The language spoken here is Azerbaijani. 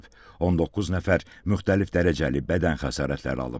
19 nəfər müxtəlif dərəcəli bədən xəsarətləri alıb.